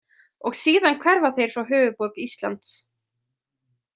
Og síðan hverfa þeir frá höfuðborg Íslands.